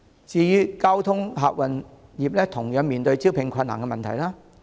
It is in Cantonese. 至於交通客運業，同樣面對招聘困難的問題。